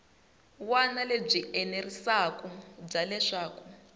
wana lebyi enerisaku bya leswaku